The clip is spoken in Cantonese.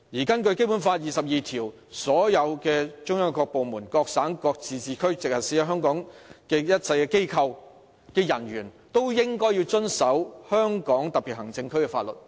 根據《基本法》第二十二條，"中央各部門、各省、自治區、直轄市在香港特別行政區設立的一切機構及其人員均須遵守香港特別行政區的法律。